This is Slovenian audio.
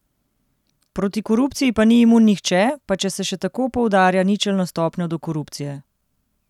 Proti korupciji pa ni imun nihče, pa če se še tako poudarja ničelno stopnjo do korupcije.